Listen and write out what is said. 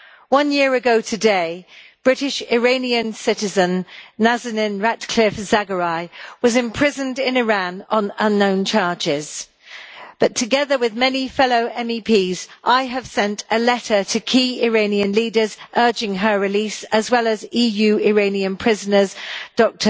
One year ago today, British Iranian citizen Nazanin Zaghari Ratcliffe, was imprisoned in Iran on unknown charges but, together with many fellow MEPs, I have sent a letter to key Iranian leaders urging her release, as well as that of EU Iranian prisoners Dr